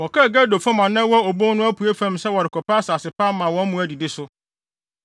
Wɔkɔɔ Gedor fam a na ɛwɔ obon no apuei fam sɛ wɔrekɔpɛ asase pa ama wɔn mmoa adidi so.